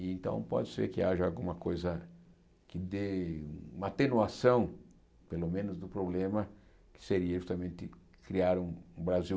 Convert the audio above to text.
Então, pode ser que haja alguma coisa que dê uma atenuação, pelo menos, do problema que seria justamente criar um um Brasil